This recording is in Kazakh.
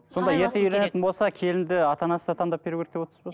сонда ерте үйленетін болса келінді ата анасы да таңдап беру керек деп отырсыз ба